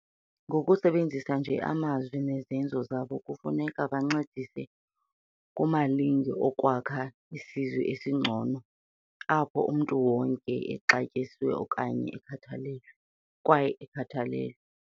Ngokusebenzisa nje amazwi nezenzo zabo, kufuneka bancedise kumalinge okwakha isizwe esingcono apho wonke umntu exatyisiwe kwaye ekhathalelwe.